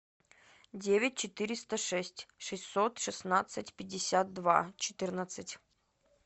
девять четыреста шесть шестьсот шестнадцать пятьдесят два четырнадцать